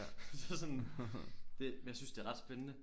Så sådan det men jeg synes det er ret spændene